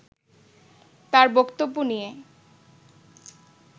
তার বক্তব্য নিয়ে